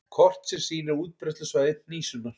Kort sem sýnir útbreiðslusvæði hnísunnar.